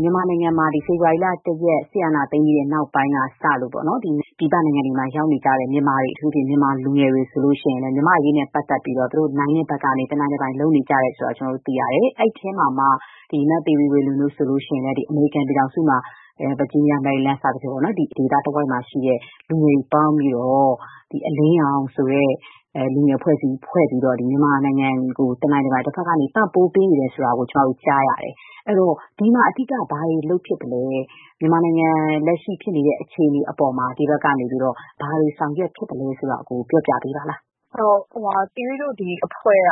မြန်မာနိုင်ငံမှာ ဖေဖော်ဝါရီလ ၁ ရက် စစ်အာဏာသိမ်းပြီး နောက်ပိုင်းကစလို့ ပြည်ပနိုင်ငံတွေမှာ ရောက်နေကြတဲ့ မြန်မာတွေ၊ မြန်မာလူငယ်တွေဆိုရင်လည်း မြန်မာ့အရေးနဲ့ပတ်သက်ပြီး သူတို့ နိုင်တဲ့ဘက်ကနေ တနိုင်တပိုင် ကူညီပံ့ပိုးမှုတွေ လုပ်နေကြတယ်ဆိုတာ သိရတယ်။ ဒီအထဲမှာ မသီရိဝေလွင် တို့ဆိုရင်လဲ အမေရိကန်ပြည်ထောင်စု၊ ဗာဂျီးနီးယား၊ မေရီလန်း၊ ဝါရှင်တန်ဒီစီ ဒေသတဝိုက်မှာ ရှိတဲ့ လူငယ်တွေ စုပေါင်းပြီး အလင်းရောင် လူငယ်အဖွဲ့ ဖွဲ့ပြီး မြန်မာနိုင်ငံအတွက် တနိုင်တပိုင် ပံ့ပိုး ကူညီတာတွေ လုပ်နေတယ်လို့ သိရပါတယ်။ အဲ့ဒီတော့ ဒီမှာ အဓိက ဘာတွေ လုပ်ဖြစ်တာပါလဲ။ လက်ရှိ မြန်မာနိုင်ငံ အခြေအနေအပေါ်မှာ ဒီဘက်ကနေ ဘာတွေများ ကူညီ ဆောင်ရွက်ပေးနေတာပါလဲ။ ''သီရိတို့ ဒီအဖွဲ့က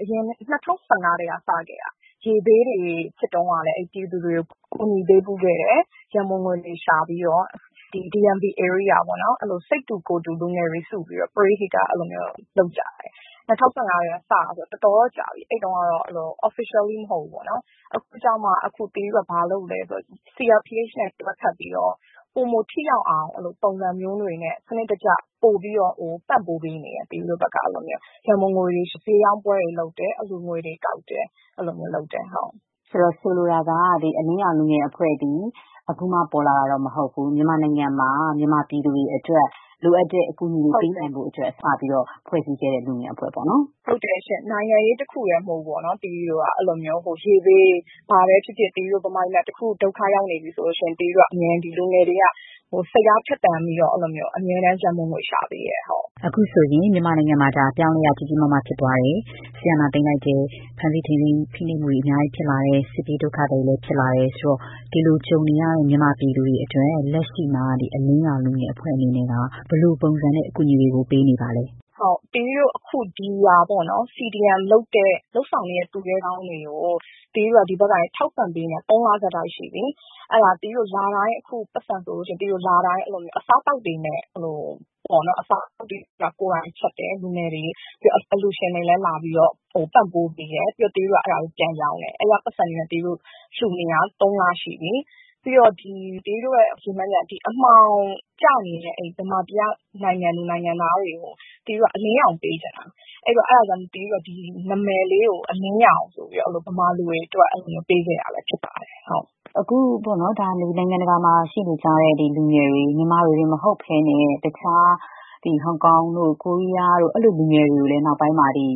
အရင် ၂၀၁၅ ကတည်းက စခဲ့တာပါ။ ရေဘေးတွေဖြစ်တုန်းကလည်း ပြည်သူတွေကို ကူညီပေးဖူးခဲ့တယ်။ ရန်ပုံငွေတွေ ရှာပြီးတော့ပါ။ DMV ဧရိယာပေါ့နော်။ စိတ်တူကိုယ်တူ လူငယ်တွေ စုပြီးတော့ ပရဟိတ လုပ်ကြတယ်။ ၂၀၁၅ ကတည်းက ဆိုတော့ တော်တော်တော့ ကြာပြီ။ အဲ့ဒီတုန်းကတော့ officially မဟုတ်ဘူးပေါေ့နာ်။ အခုကျမှ သီရိတို့က CRPH နဲ့ တွဲဖက်ပြီးတော့ ပိုမိုထိရောက်အောင် ပုံစံမျိုးတွေနဲ့ ပိုပြီးတော့ စနစ်တကျ ပံ့ပိုးပေးနေပါတယ်။ ရန်ပုံငွေတွေ ရှာတယ်။ ဈေးရောင်းပွဲတွေလုပ်တယ်။ အလှူငွေတွေ ကောက်တယ်။ အဲ့ဒီလိုမျိုးတွေလုပ်ပါတယ်။” ဆိုလိုတာက ဒီ အလင်းရောင် လူငယ်အဖွဲ့ ဟာ အခုမှ ပေါ်လာတာမဟုတ်ဘဲ မြန်မာနိုင်ငံမှာ ပြည်သူတွေအတွက် လိုအပ်တဲ့အကူအညီတွေ ပေးနိုင်ဖို့အတွက် အရင်ကတည်းက စဖွဲ့ခဲ့တဲ့ အဖွဲ့ပေါ့နော်။ “ဟုတ်ကဲ့ရှင့်။ နိုင်ငံရေးတခုတည်း မဟုတ်ဘူးပေါ့နော်။ ရေဘေးပဲဖြစ်ဖြစ်၊ ဘာပဲဖြစ်ဖြစ် မြန်မာပြည်မှာ တခုခု ဒုက္ခကြုံရတယ်ဆိုရင် သီရိတို့ လူငယ်တွေက အမြဲတမ်း စိတ်အားထက်သန်ပြီးတော့ အမြဲတမ်း ရန်ပုံငွေ ရှာပေးပါတယ်။” အခုဆိုရင် မြန်မာနိုင်ငံမှာ အပြောင်းအလဲက ကြီးကြီးမားမား ဖြစ်သွားတယ်။ စစ်အာဏာသိမ်းလိုက်တယ်။ ဖမ်းဆီး ထိန်းသိမ်း ဖိနှိပ်တာတွေ အများကြီး ဖြစ်လာတယ်။ စစ်ပြေးဒုက္ခသည်တွေ များလာတယ်။ ဆိုတော့ ဒီလို ကြုံနေရတဲ့ မြန်မာပြည်သူတွေ အတွက် လက်ရှိမှာ အလင်းရောင် လူငယ်အဖွဲ့ အနေနဲ့ ဘယ်လိုပုံစံနဲ့ အကူအညီတွေ ပေးနေတာပါလဲ။ “ဟုတ်ကဲ့။ သီရိတို့ အခုက CDM လုပ်နေတဲ့ သူရဲကောင်းတွေကို သီရိတို့က ဒီဘက်ကနေ ထောက်ပံ့ပေးနေတာ ၃ လ ဆက်တိုက် ရှိပြီ။ အဲ့ဒါ သီရိတို့ လတိုင်း ပိုက်ဆံ ဆိုလို့ရှိရင် အစားအသောက်တွေကို လူငယ်တွေ ကိုယ်တိုင်ချက်တယ်။ အလှူရှင်တွေကလည်း လာပြီး ပံ့ပိုးပေးကြတယ်။ ပြီးတော့ ဒီအစားအသောက်တွေကို သီရိတို့က ပြန်ရောင်းတယ်။ အဲ့ဒီက ပိုက်ဆံတွေနဲ့ သီရိတို့ လှူနေတာ ၃ လရှိပြီ။ ပြီးတော့ သီရိတို့ရဲ့ ရည်မှန်းချက်က အမှောင်ကျနေတဲ့ မြန်မာပြည်က နိုင်ငံသူနိုင်ငံသားတွေကို သီရိတို့က အလင်းရောင် ပေးချင်တာ။ အဲ့ဒါကြောင့် သီရိတို့က ဒီနာမည်လေးကိုတောင် အလင်းရောင် ဆိုပြီးတော့ ပေးခဲ့တာဖြစ်ပါတယ်။” အခု နိုင်ငံတကာမှာ ရှိနေကြတဲ့လူငယ်တွေ၊ မြန်မာတွေတင်မဟုတ်ဘဲနဲ့ တခြား ဟောင်ကောင်တို့ ကိုရီးယားတို့က လူငယ်တွေကိုလည်း နောက်ပိုင်း ပြည်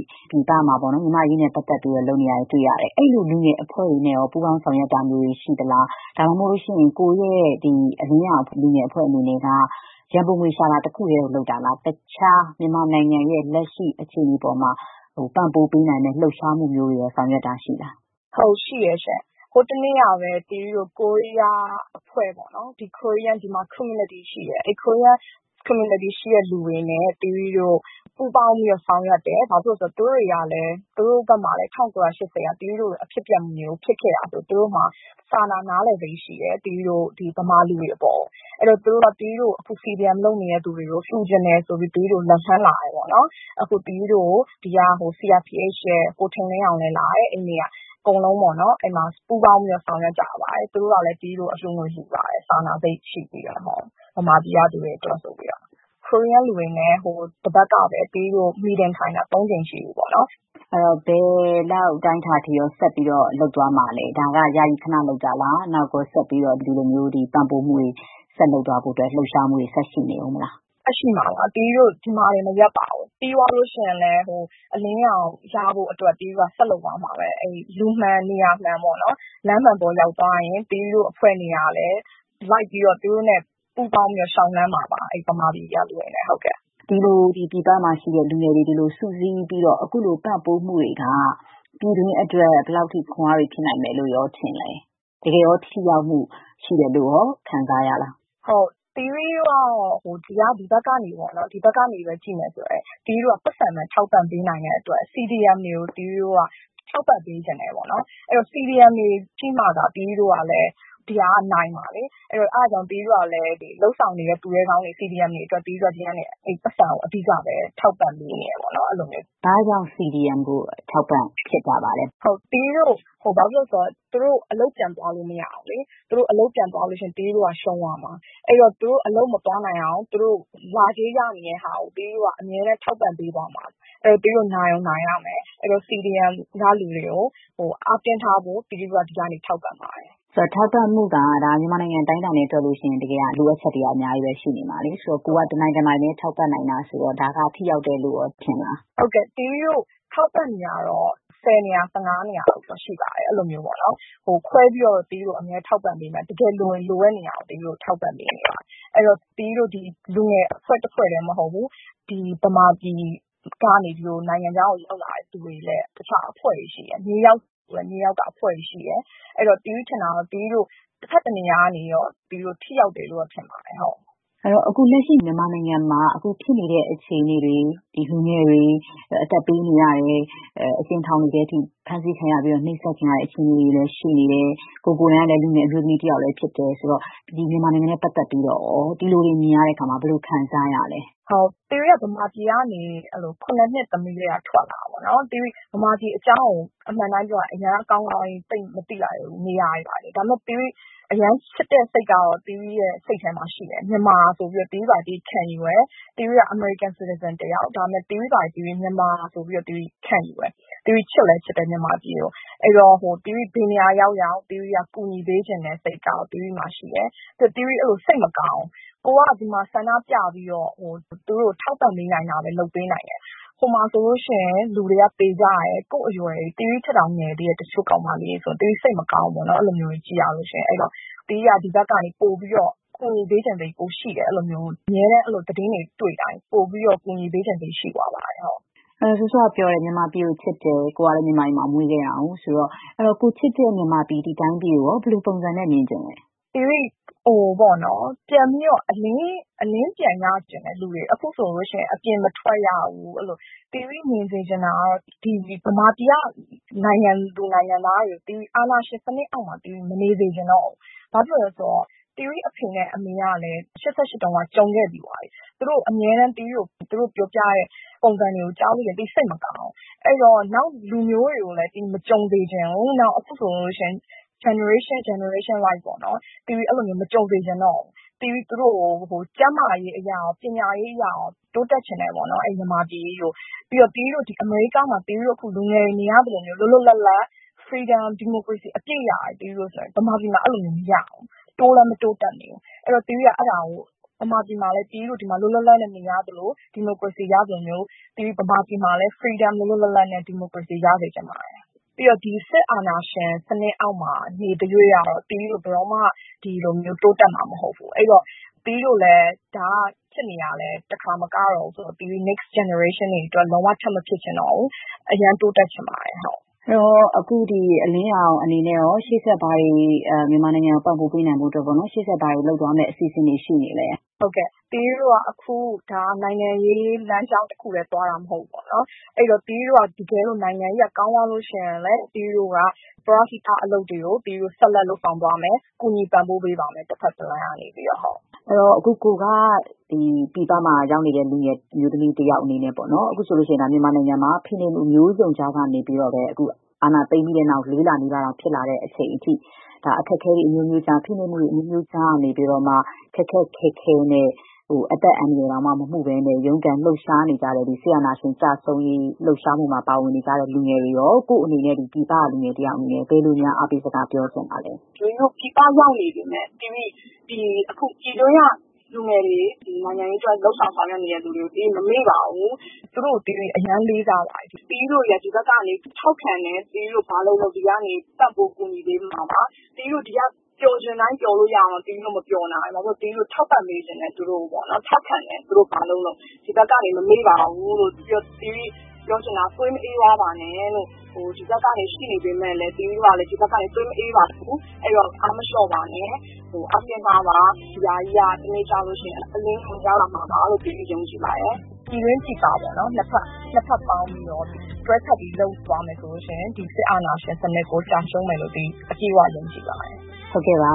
ပမှာ မြန်မာ့အရေးနဲ့ပတ်သက်ပြီး လုပ်နေတာ တွေ့ရတယ်။ အဲ့ဒီလို လူငယ်အဖွဲ့တွေနဲ့ရော ပူးပေါင်း ဆောင်ရွက်တာမျိုးတွေ ရှိပါသလား။ ဒါမှမဟုတ် အလင်းရောင် လူငယ်အဖွဲ့အနေနဲ့က ရန်ပုံငွေ ရှာတာ တခုတည်းကို လုပ်တာလား။ တခြား မြန်မာနိုင်ငံရဲ့ လက်ရှိ အခြေအနေအပေါ်မှာ ပံ့ပိုးပေးနိုင်မယ့် လှုပ်ရှားမှုမျိုးတွေကိုရော ဆောင်ရွက်တာ ရှိပါလား။ “ဟုတ်ကဲ့ ရှိတယ်ရှင့်။ ဟိုတနေ့ကပဲ ကိုရီးယားအဖွဲ့ပေါ့နော်။ ဒီမှာက ကိုရီးယား community ရှိပါတယ်။ အဲ့ဒီ ကိုရီးယား community က လူတွေနဲ့ သီရိတို့ ပူးပေါင်း ဆောင်ရွက်တာရှိပါတယ်။ ဘာဖြစ်လို့လဲ ဆိုတော့ သူတို့တွေကလဲ သူတို့နိုင်ငံမှာလည်း ၁၉ ၈၀ လောက်က သီရိတို့လို အဖြစ်အပျက်မျိုး ဖြစ်ခဲ့တာဆိုတော့ သူတို့မှာ စာနာ နားလည်စိတ် ရှိတယ်။ မြန်မာတွေ အပေါ်ကိုပေါ့။ သူတို့က အခု CDM လုပ်နေတဲ့သူတွေကို လှူချင်တယ်ဆိုပြီးတော့လည်း လက်လှမ်းလာတယ်။ အဲ့ဒီနေ့ကဆို CRPH က ကိုထင်လင်းအောင်လည်း လာတယ်။ အကုန်လုံး ပူးပေါင်းပြီးတော့ ဆောင်ရွက်ကြပါတယ်။ သူတို့ကလည်း သီရိတို့ကို အလှူငွေ လှူပါတယ်။ သူတို့နဲ့ ဟိုတပတ်ကပဲ meeting ထိုင်တာလည်း ၃ ကြိမ် ရှိပြီပေါ့နော်။” အဲ့ဒီတော့ ဘယ်လောက် အတိုင်းအတာအထိရော ဆက်ပြီးတော့ လုပ်သွားမှာလဲ။ ဒါက ယာယီ ခန လုပ်တာလား။ နောက်ရော ဆက်ပြီးတော့ ခုလို ပံ့ပိုးမှုတွေ ဆက်လုပ်သွားမှာလား။ လှုပ်ရှားမှုတွေ ဆက်ရှိနေမှာလား။ “ဆက်ရှိမှာပါ။ သီရိတို့ ဒီမှာတင် မရပ်ပါဘူး။ ပြီးသွားလို့ရှိရင်လဲ အလင်းရောင် ဆက်ရနေဖို့အတွက် သီရိတို့က ဆက်လုပ်သွားမှာပဲ။ လူမှန် နေရာမှန်ပေါ့နော်။ လမ်းမှန်ပေါ် ရောက်သွားရင် သီရိတို့ အဖွဲ့တွေကလည်း လိုက်ပြီးတော့ သူတို့နဲ့ ပူးပေါင်းပြီးတော့ လေ ျှာက်လှမ်းမှာပါ။ မြန်မာပြည်ထဲက လူတွေနဲ့အတူပါ။” ဒီလို ပြည်ပမှာရှိတဲ့လူငယ်တွေ ခုလိုစုစည်းပြီးတော့ ပံ့ပိုးမှုတွေက ပြည်တွင်းအတွက် ဘယ်လောက်အထိ ခွန်းအား ဖြစ်နိုင်မယ်လို့ရော ထင်ပါသလဲ။ တကယ်ရော ထိရောက်မှု ရှိတယ်လို့ရော ခံစားရလား။ “ဟုတ်ကဲ့။ သီရိတို့ကတော့ ဒီဘက်ကနေ ကြည့်မယ်ဆိုရင် သီရိတို့က ပိုက်ဆံပဲ ထောက်ပံ့ပေးနိုင်တဲ့အတွက် CDM တွေကို သီရိတို့က ထောက်ပံ့ပေးချင်တယ်ပေါ့နော်။ ဒီ CDM တွေရှိမှသာ ဒီဟာကလည်း နိုင်မှာလေ။ အဲ့ဒါကြောင့် သီရိတို့ကလည်း CDM လုပ်ဆောင်နေတဲ့ သူရဲကောင်းတွေကို ဒီကနေ ပိုက်ဆံကို အဓိက ထောက်ပံ့ပေးနေတယ်ပေါ့နော်။ အဲ့ဒီလိုမျိုးပါ။” ဘာကြောင့် CDM ကို ထောက်ပံ့တာပါလဲ။ “ဘာဖြစ်လို့လဲဆိုတော့ သူတို့ အလုပ် ပြန်သွားလို့မဖြစ်ဘူးလေ။ သူတို့ အလုပ်ပြန်သွားရင် သီရိတို့က ရှုံးသွားမှာ။ အဲ့ဒီတော့ သူတို့ အလုပ်ပြန်မသွားဘဲ နေနိုင်အောင် သူတို့လစဉ်ရနေတဲ့ လစာကို သီရိတို့က ထောက်ပံ့ပေးသွားမှာ။ အဲ့ဒီတော့ သီရိတို့ နိုင်ကိုနိုင်ရမယ်။ CDM ကလူတွေကို အားတင်းထားဖို့ သီရိတို့က ဒီကနေ ထောက်ပံ့တာပါ။” ဆိုတော့ ဒီထောက်ပံ့မှုက မြန်မာနိုင်ငံ တနိုင်ငံလုံး အတိုင်းအတာနဲ့တွက်ရင် တကယ်က လိုအပ်ချက်တွေက အများကြီးပဲ ရှိနေမှာလေ။ ကိုယ်က တနိုင်တပိုင်လေးပဲ ထောက်ပံ့နိုင်တာ ဆိုတော့ ဒါက ထိရောက်တယ်လို့ရောထင်လား။ “ဟုတ်ကဲ့။ သီရိတို့ထောက်ပံ့နေတာကတော့ ၁၀ နေရာ၊ ၁၅ နေရာလောက်တော့ ရှိပါတယ်။ ခွဲပြီးတော့ သီရိတို့ အမြဲထောက်ပံ့ပါတယ်။ တကယ် လိုရင် လိုတဲ့နေရာကို ထောက်ပံ့ပေးနေပါတယ်။ အဲ့ဒီတော့ သီရိတို့ လူငယ် အဖွဲ့တဖွဲ့တည်း မဟုတ်ဘူး။ မြန်မာပြည်ကနေ နိုင်ငံခြားကို ရောက်လာတဲ့ သူတွေလည်း တခြားအဖွဲ့တွေ ရှိတယ်။ နယူးယောက်ဆိုရင်လည်း နယူးယောက်က အဖွဲ့တွေ ရှိတယ်။ အဲ့ဒီတော့ သီရိထင်တာကတော့ တဘက်တနေရာကနေတော့ ထိရောက်တယ်လို့တော့ ထင်ပါတယ်။” အဲ့ဒီတော့ အခု လက်ရှိ မြန်မာနိုင်ငံမှာ အခုဖြစ်နေတဲ့ အခြေအနေတွေမှာ လူငယ်တွေ အသက်ပေးနေရတယ်။ အကျဉ်းထောင်တွေထဲထိ ဖမ်းဆီးခံရပြီး နှိပ်စက်ညှဉ်းပမ်း ခံရတဲ့ အခြေအနေတွေလည်း ရှိနေတယ်။ ကိုယ် ကိုယ်တိုင်ကလည်း လူငယ်အမျိုးသမီးတယောက်လည်း ဖြစ်တယ်ဆိုတော့ ဒီမြန်မာနိုင်ငံနဲ့ပတ်သက်ပြီးတော့ရော ဒီလိုတွေ မြင်ရတဲ့အခါမှာ ဘယ်လိုခံစားရလဲ။ “သီရိက မြန်မာပြည်ကနေ ၇ နှစ်သမီးကတည်းက ထွက်လာတာပေါ့နော်။ သီရိ မြန်မာပြည်အကြောင်းကို အမှန်အတိုင်းပြောရရင် အရမ်း ကောင်းကောင်းကြီး သိပ် မသိလိုက်ဘူး။ နေရာတွေ ဘာတွေပေါ့။ ဒါပေမဲ့ အရမ်းချစ်တဲ့စိတ်ကတော့ သီရိရဲ့ စိတ်ထဲမှာရှိတယ်။ မြန်မာဆိုပြီး သီရိ ကိုယ့်ဟာကိုယ်ခံယူတယ်။ သီရိက အမေရိကန် citizen တယောက်။ ဒါပေမဲ့ ကိုယ့်ဟာကိုယ် မြန်မာတယောက်လို့ ခံယူတယ်။ ကိုယ့်မြန်မာပြည်ကို သီရိ ချစ်လည်းချစ်တယ်။ အဲ့ဒီတော့ ဘယ်နေရာရောက်ရောက် ကူပေးချင်တဲ့စိတ် ကတော့ သီရိမှာရှိတယ်။ ပြီးတော့ သီရိ စိတ်မကောင်းဘူး။ ကိုယ်က ဒီမှာ ဆန္ဒပြပြီးတော့ သူတို့ကို ထောက်ပံ့ပေးနိုင်တာပဲ လုပ်ပေးနိုင်တယ်။ ဟိုမှာဆိုလို့ရှိရင် လူတွေက သေကြတယ်။ ကိုယ့်အရွယ်တွေ။ တချို့ကောင်မလေးတွေ ဆိုရင် သီရိထက်တောင် ငယ်ကြတယ်။ ဆိုတော့ သီရိ စိတ်မကောင်းဘူးပေါ့နော်။ အဲ့ဒီလိုမျိုးတွေ သိရလို့ရှိရင် သီရိက ဒီဘက်ကနေ ပိုပြီးတော့ ကူညီပေးချင်တယ်။ အမြဲတမ်း သတင်းတွေ တွေ့တိုင်း ပိုပြီးတော့ ကူညီပေးချင်စိတ် ရှိသွားပါတယ်။” စောစောကပြောတဲ့အထဲမှာ မြန်မာပြည်ကို ချစ်တယ်။ ကိုယ်ကလည်း မြန်မာပြည်မှာ မွေးခဲ့တာဆိုတော့လေ။ ကိုယ်ချစ်တဲ့ မြန်မာပြည်ကိုရော ဘယ်လိုပုံစံနဲ့မြင်ချင်လဲ။ “ပြန်ပြီးတော့ အလင်း ပြန်ရစေချင်တယ်။ အခုဆိုလို့ရှိရင် အပြင်မထွက်ရဘူး။ သီရိ မြင်ချင်တာကတော့ ဒီ မြန်မာပြည်က နိုင်ငံသူနိုင်ငံသားတွေကို အာဏာရှင်စနစ်အောက်မှာ မနေစေချင်တော့ဘူး။ ဘာဖြစ်လို့လဲဆိုတော့ သီရိ အဖေနဲ့အမေကလည်း ၈၈ တုန်းက ကြုံခဲ့ပြီးသွားပြီ။ သူတို့အမြဲတမ်း ပြောပြတဲ့ ပုံစံတွေကို ကြားရတိုင်းမှာ သီရိစိတ်မကောင်းဘူး။ အဲ့ဒီတော့ နောက် လူမျိုးတွေကိုလည်း ဒီလိုမျိုးတွေ မကြုံစေချင်ဘူး။ အခုဆိုလို့ရှိရင် generation တခုပြီးတခု ကြုံရတာတွေ မကြုံစေချင်တော့ဘူး။ သူတို့ကို ကျန်းမာရေးအရ၊ ပညာရေးအရ တိုးတက်စေချင်တယ်။ မြန်မာပြည်ကြီးကိုပေါ့။ ပြီးတော့ အခု အမေရိကားမှာ သီရိတို့ အခုလူငယ်တွေ နေရသလိုမျိုး လွတ်လွတ်လပ်လပ် freedom ၊ deomocracy အပြည့်ရစေချင်တယ်။ မြန်မာပြည်မှာ အဲ့ဒီလိုမျိုး မရဘူး။ တိုးလည်း မတိုးတက်ဘူး။ အဲ့ဒီတော့ သီရိက မြန်မာပြည်မှာလည်း သီရိတို့ ဒီမှာ လွတ်လွတ်လပ်လပ် နေရသလို ဒီမိုကရေစီရသလိုမျိုး မြန်မာပြည်မှာလည်း လွတ်လွတ်လပ်လပ်နဲ့ ဒီမိုကရေစီ ရစေချင်ပါတယ်။ ပြီးတော့ ဒီစစ်အာဏာရှင်စနစ် အောက်မှာတော့ နေသ၍ကတော့ သီရိတို့ ဘယ်တော့မှ တိုးတက်မှာမဟုတ်ဘူး။ အဲ့ဒီတော့ သီရိတို့လည်း ဒါက ဖြစ်နေတာ တခါမကတော့ဘူး။ နောက်ထပ်မျိုးဆက်တွေ အတွက် ဘယ်လိုမှထပ် မဖြစ်ချင်တော့ဘူး။ အရမ်းတိုးတက်စေချင်ပါတယ်။” အဲ့ဒီတော့ အလင်းရောင် လူငယ်အဖွဲ့ အနေနဲ့ရော ရှေ့ဆက် မြန်မာနိုင်ငံအတွက် ပံ့ပိုးပေးနိုင်ဖို့အတွက် ဘာတွေ ဆက်လုပ်သွားဖို့ ရှိနေပါလဲ။ “ဟုတ်ကဲ့။ သီရိတို့က ဒါက နိုင်ငံရေးလမ်းကြောင်းတခုတည်း သွားတာမဟုတ်ဘူးပေါ့နော်။ အဲ့ဒီတော့ သီရိတို့က တကယ်လို့ နိုင်ငံရေးက ကောင်းသွားလို့ရှိရင်လည်း သီရိတို့က ပရဟိတ အလုပ်တွေကို ဆက်လက် လုပ်ဆောင်သွားမယ်။ တဘက်တလမ်းကနေ ကူညီပံ့ပိုးပေးသွားပါမယ်။” အခု ကိုယ်က ပြည်ပမှာရောက်နေတဲ့ လူငယ်အမျိုးသမီးတယောက် အနေနဲ့ အခုဆိုရင် မြန်မာနိုင်ငံမှာ ဖိနှိပ်မှုမျိုးစုံကြားကနေပြီးတော့ပဲ အာဏာသိမ်းပြီးနောက်ပိုင်း ၄ လနီးပါး ဖြစ်လာတဲ့အချိန်အထိ အခက်အခဲတွေ အမျိုးမျိုးကြား၊ ဖိနှိပ်မှုတွေ အမျိုးမျိုးကြားကနေပြီးတောမှ ခက်ခက်ခဲခဲနဲ့ အသက်အန္တရာယ်တောင် မမှုဘဲနဲ့ ရုန်းကန် လှုပ်ရှားနေကြတဲ့ စစ်အာဏာရှင် ကျဆုံးရေး လှုပ်ရှားမှုမှာ ပါဝင်နေကြတဲ့ လူတွေကိုရော ကိုယ့်အနေနဲ့ ပြည်ပက လူငယ်တယောက် အနေနဲ့ ဘယ်လိုမျိုး အားပေးစကား ပြောချင်ပါသလဲ။ “သီရိတို့ ပြည်ပရောက်နေပေမဲ့ အခုပြည်တွင်းက လူငယ်တွေ၊ နိုင်ငံရေးအတွက် လုပ်ဆောင် ဆောင်ရွက်နေကြတဲ့သူတွေကို သီရိတို့ မမေ့ပါဘူး။ သူတို့ကို သီရိ အရမ်းလေးစားပါတယ်။ သီရိတို့တွေက ဒီကနေ ထောက်ခံတယ်။ သူတို့ဘာလုပ်လုပ် သီရိတို့ ပံ့ပိုးကူညီပေးမှာပါ။ သီရိတို့ ဒီမှာ ပျော်ချင်တိုင်း ပျော်လို့ရတာတောင် သီရိတို့ မပျော်နိုင်ဘူး။ သီရိတို့ထောက်ပံ့ပေးချင်တယ်။ သူတို့ကို ထောက်ခံတယ် သူတို့ ဘာလုပ်လုပ်။ ဒီဘက်ကနေ မမေ့ပါဘူးလို့။ ပြီးတော့ သီရိပြောချင်တာက သွေးမအေးသွားပါနဲ့လို့။ ဒီဘက်မှာရှိနေပေမဲ့ သီရိတို့ကလည်း သွေးမအေးပါဘူး။ အဲ့ဒီတော့ အားမလေ ျှာ့ပါနဲ့။ အောင်မြင်မှာပါ။ ဒီဟာကြီးက တနေ့ကျလို့ရှိရင် အလင်းရောင် ရလာမှာပါလို့ သီရိယုံကြည်ပါတယ်။ ပြည်တွင်း ပြည်ပပေါ့နော် နှစ်ဘက် ပေါင်းပြီးတော့ တွဲဖက်ပြီး လုပ်ယူသွားမယ်ဆိုရင် ဒီစစ်အာဏာရှင်စနစ်ကို ကျရှုံးမယ်လို့ သီရိ အပြည့်အ၀ ယုံကြည်ပါတယ်။” ဟုတ်ကဲ့ပါ